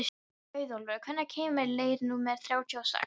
Auðólfur, hvenær kemur leið númer þrjátíu og sex?